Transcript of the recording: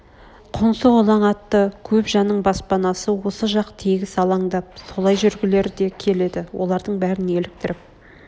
қоңсы-қолаң атты көп жанның баспанасы осы жақ тегіс алаңдап солай жүргілер де келеді олардың бәрін еліктіріп